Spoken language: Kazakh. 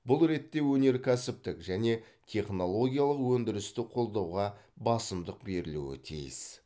бұл ретте өнеркәсіптік және технологиялық өндірісті қолдауға басымдық берілуі тиіс